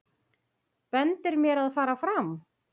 Bendir mér að fara fram.